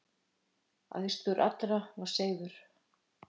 Æðstur allra var Seifur.